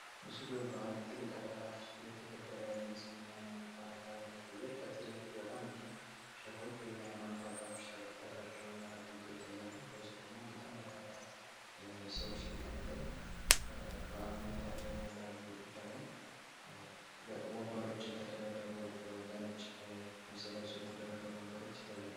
መስሉ በአንድ ትልቅ አዳራሽ እየተከበረ ያለ የኢስልምና ህይማኖት ባእል አከባበር ያሳያል። ከፊት ለፊት በጣም ብዙ ሼሆች ወይም የሃይማኖት አባቶች አደረጉና ተቀምጠው ይታያሉ። ከውስጥ ደግሞ በጣም በርካታ ሰዎች ተቀምጠው በዓሉን የታደሙ እንዳሉ ይታያል። ወንበሮች የተደረደሩ በነጭ ልብስ የለበሱ የተደረደሩ ወንበሮች ይታያሉ።